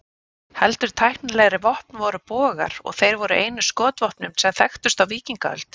Heldur tæknilegri vopn voru bogar, og þeir voru einu skotvopnin sem þekktust á víkingaöld.